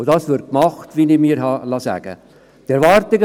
Dies wird gemacht, wie ich mir habe sagen lassen.